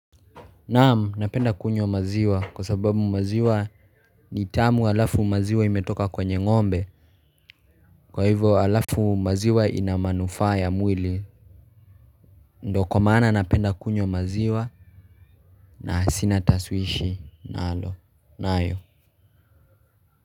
Naam napenda kunywa maziwa kwa sababu maziwa ni tamu halafu maziwa imetoka kwenye ng'ombe. Kwa hivyo alafu maziwa ina manufaa ya mwili. Ndo kwa maana napenda kunywa maziwa. Na sina taswishi nalo nayo.